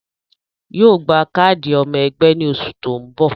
Yóò gba káàdì ọmọ ẹgbẹ́ ní oṣù tó ń bò